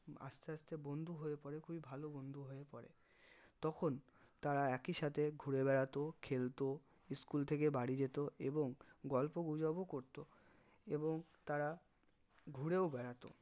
আস্তে আস্তে বন্ধু হয়ে পরে খুবই ভালো বন্ধু হয়ে পরে তখন তারা একি সাথে ঘুরে বেড়াতো খেলতো school থেকে বাড়ি যেত এবং গল্প গুজব ও করতো এবং তারা ঘুরেও বেড়াতো